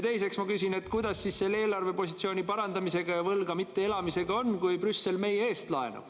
Teiseks ma küsin, kuidas on eelarvepositsiooni parandamisega ja võlgu mitte elamisega, kui Brüssel meie eest laenab.